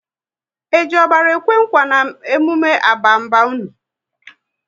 E ji ọbara ekwe nkwa n'emume abamaba unu?